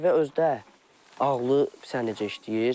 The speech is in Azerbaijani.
Dəvə özü də ağlı, bilirsən necə işləyir.